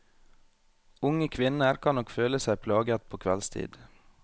Unge kvinner kan nok føle seg plaget på kveldstid.